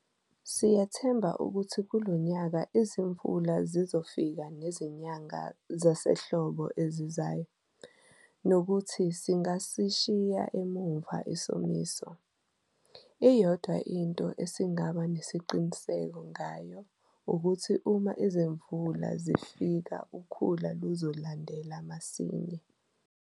Siyethemba ukuthi kulo nyaka izimvula zizofika nezinyanga zasehlobo ezizayo, nokuthi singasishiya emuva isomiso. Iyodwa into esingaba nesiqiniseko ngayo ukuthi uma izimvula zifika ukhula luzolandela masinyane.